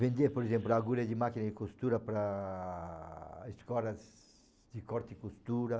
Vender, por exemplo, agulha de máquina de costura para escolas de corte e costura.